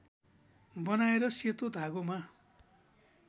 बनाएर सेतो धागोमा